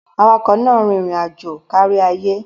Awakọ̀ náà rìn irin aajo káríayé